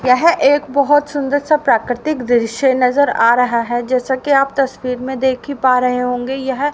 यह एक बहुत सुंदर सा प्राकृतिक दृश्य नजर आ रहा है जैसा कि आप तस्वीर में देखी पा रहे होंगे यह--